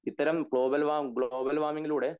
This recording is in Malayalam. ഇത്തരം ഗ്ലോബൽ വാര്മ്മ് ഗ്ലോബൽ വാർമിംഗിലൂടെ